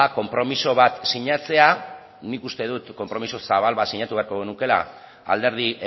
konpromiso bat sinatzea nik uste dut konpromiso zabal bat sinatu beharko genukeela alderdi